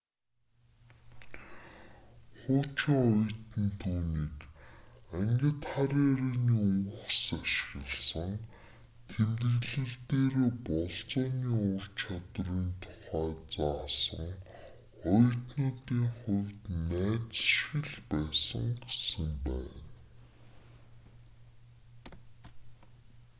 хуучин оюутан түүнийг ангид хар ярианы үгс ашигласан тэмдэглэл дээрээ болзооны ур чадварын тухай заасан оюутнуудын хувьд найз шиг л байсан гэсэн байна